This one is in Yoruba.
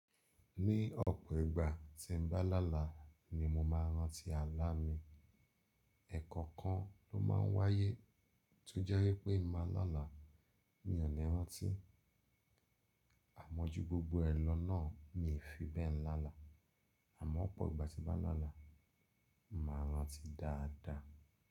Ní ọ̀pọ̀ ìgbà tí n bá láàlá ni mo máa rántí alá mi. Ẹ̀kọ̀kan ló máa ń wáyé tó jẹ́ wípé màá láàlá, mi ò ni rántí. Àmọ́ ju gbogbo ẹ lọ náà mi fi bẹ́ẹ̀ ń láàlá. Àmọ́ ọ̀pọ̀ ìgbà tí bá là láàlá, màá rántí dáadáa.